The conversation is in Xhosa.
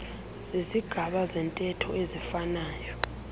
zizigaba zentetho eziifanayo